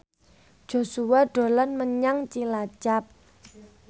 Joshua dolan menyang Cilacap